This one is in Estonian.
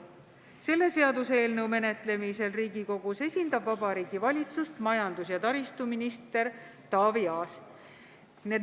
Selle seaduseelnõu menetlemisel Riigikogus esindab Vabariigi Valitsust majandus- ja taristuminister Taavi Aas.